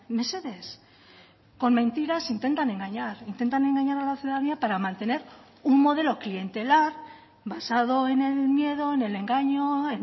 mesedez con mentiras intentan engañar intentan engañar a la ciudadanía para mantener un modelo clientelar basado en el miedo en el engaño